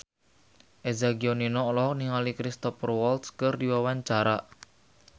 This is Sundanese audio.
Eza Gionino olohok ningali Cristhoper Waltz keur diwawancara